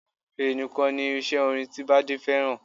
Fèrè nìkan ni irinṣẹ́ orin ti Bádé fẹ́ràn